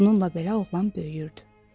Bununla belə oğlan böyüyürdü.